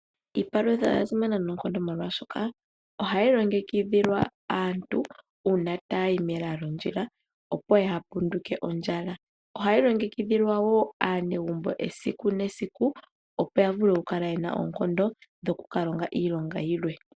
Iipalutha oya simana noonkondo molwaashoka ohayi longekidhilwa aantu uuna taya yi mela lyondjila opo yaapunduke ondjala. Ohayi longekidhilwa woo aanegumbo esiku mesiku opo ya kale yena oonkondo dhokukalonga yilwe.